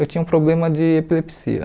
Eu tinha um problema de epilepsia.